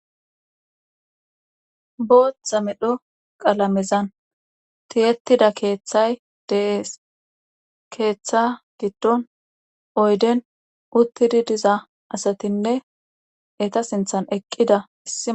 booththa medho qalamezan tiyettida keeththay dees keeththa giddon oyden uttidi diza asatinne eta sinthan eqqida issia